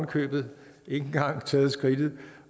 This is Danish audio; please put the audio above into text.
købet ikke engang taget skridtet